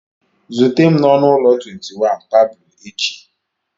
Zute m n'ọnụ ụlọ 21, Pablo echi!